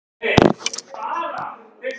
Gangi þér allt í haginn, Ares.